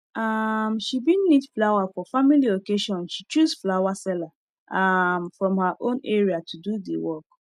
um she bin need flower for family occasion she choose flower seller um from her own area to do the work